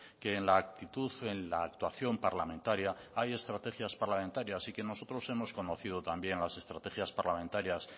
que en la actitud en la actuación parlamentaria hay estrategias parlamentarias y que nosotros hemos conocido también las estrategias parlamentarias